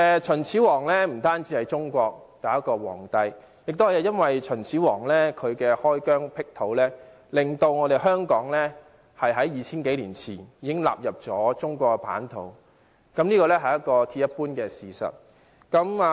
秦始皇不單是中國第一位皇帝，正正由於秦始皇開疆闢土，令香港在 2,000 多年前已納入中國版圖，這是鐵一般的事實。